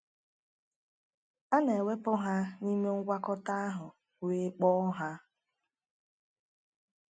A na-ewepụ ha n’ime ngwakọta ahụ wee kpoo ha.